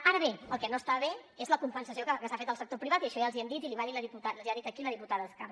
ara bé el que no està bé és la compensació que s’ha fet al sector privat i això ja els hi hem dit i l’hi ha dit aquí la diputada escarp